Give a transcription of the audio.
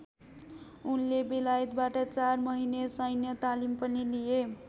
उनले बेलायतबाट चाँर महिने सैन्य तालिम पनि लिए।